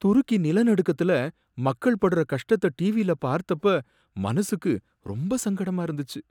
துருக்கி நில நடுக்கத்துல மக்கள்படுற கஷ்டத்தை டிவியில பார்த்தப்ப மனசுக்கு ரொம்ப சங்கடமா இருந்துச்சு.